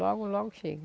Logo, logo chega.